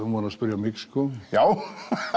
var að spyrja mig sko já